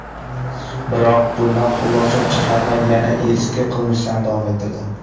Biroq bundan xulosa chiqarmay, yana eski qilmishlarini davom ettirdi.